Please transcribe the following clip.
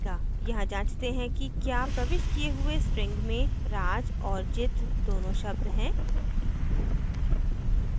यहाँ जाँचते है कि क्या प्रविष्ट किये हुए string में raj और jit दोनों शब्द हैं